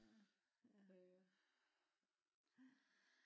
Ja ja